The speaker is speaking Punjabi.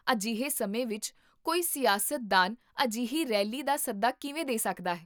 ਅਜਿਹੇ ਸਮੇਂ ਵਿਚ ਕੋਈ ਸਿਆਸਤਦਾਨ ਅਜਿਹੀ ਰੈਲੀ ਦਾ ਸੱਦਾ ਕਿਵੇਂ ਦੇ ਸਕਦਾ ਹੈ?